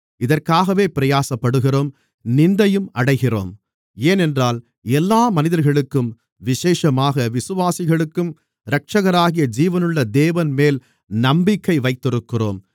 இதற்காகவே பிரயாசப்படுகிறோம் நிந்தையும் அடைகிறோம் ஏனென்றால் எல்லா மனிதர்களுக்கும் விசேஷமாக விசுவாசிகளுக்கும் இரட்சகராகிய ஜீவனுள்ள தேவன்மேல் நம்பிக்கை வைத்திருக்கிறோம்